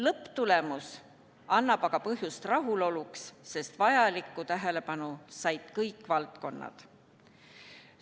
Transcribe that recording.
Lõpptulemus annab aga põhjust rahuloluks, sest vajalikku tähelepanu said kõik valdkonnad.